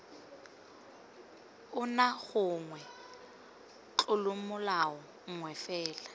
ona gongwe tlolomolao nngwe fela